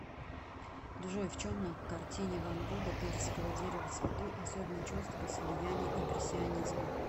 джой в чем на картине ван гога персиковое дерево в цвету особенно чувствовалось влияние импрессионизма